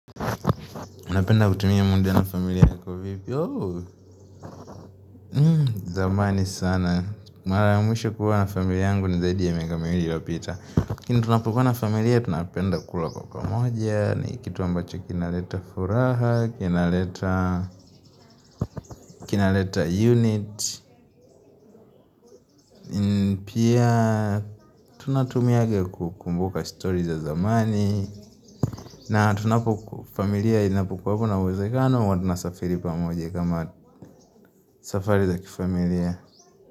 Unapenda kutumia mundi ya na familia yako vipi, zamani sana, maramwisho kuwa na familia yangu ni zaidi ya miaka miwili iliopita. laKini tunapokuwa na familia, tunapenda kula kwa pamoja, ni kitu ambacho kinaleta furaha, kinaleta unit, pia tunatumia kukumbuka stori za zamani, na tunapokuwa kuna wazekano, huwa tunasafiri pa moja kama safari za kifamilia.